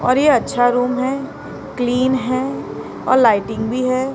और ये अच्छा रूम है क्लीन है और लाइटिंग भी है।